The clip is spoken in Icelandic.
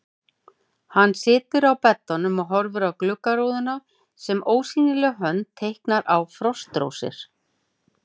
Hann situr á beddanum og horfir á gluggarúðuna sem ósýnileg hönd teiknar á frostrósir.